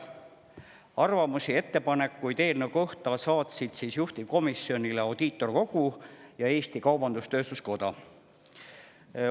Arvamusi ja ettepanekuid eelnõu kohta saatsid juhtivkomisjonile Audiitorkogu ja Eesti Kaubandus-Tööstuskoda.